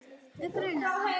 Mig grunar það.